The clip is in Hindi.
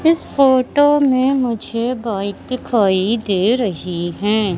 इस फोटो में मुझे बाइक दिखाई दे रही हैं।